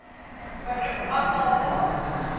beroep aantal pos